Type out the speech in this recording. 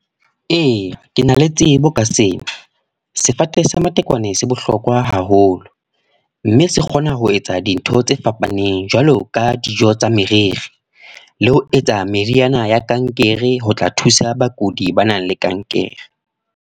Ee, ke na le tsebo ka seo. Sefate sa matekwane se bohlokwa haholo. Mme se kgona ho etsa dintho tse fapaneng. Jwalo ka dijo tsa meriri, le ho etsa meriana ya kankere ho tla thusa bakudi ba nang le kankere.